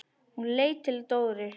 Hún leit til Dóru.